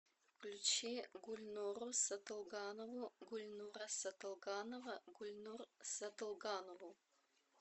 включи гульнуру сатылганову гульнура сатылганова гульнур сатылганову